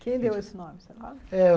Quem deu esse nome? Eh